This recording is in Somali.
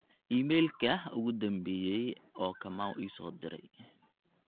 iiimayl kehh ugu dhambeysey oo kamau ii soo diray